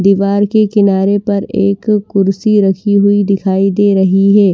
दीवार के किनारे पर एक कुर्सी रखी हुई दिखाई दे रही है।